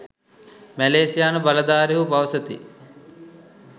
මැලේසියානු බලධාරීහු පවසති